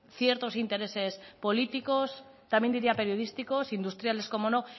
ciertos intereses políticos también diría periodísticos industriales como no